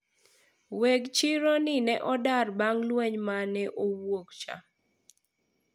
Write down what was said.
weg chiro ni ne odar bang' lweny mane owuok cha